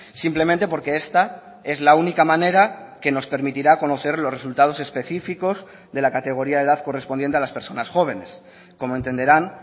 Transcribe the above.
simplemente porque esta es la única manera que nos permitirá conocer los resultados específicos de la categoría de edad correspondiente a las personas jóvenes como entenderán